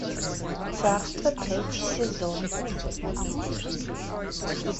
царство третий сезон